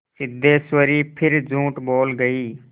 सिद्धेश्वरी फिर झूठ बोल गई